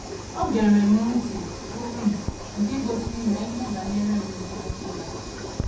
O gere O gere m ntị, bụ́ um nke gosiri m na ihe banyere um m na - emetụ um ya.